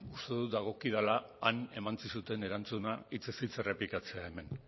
uste dut dagokidala han eman zizuten erantzuna hitzez hitz errepikatzea hemen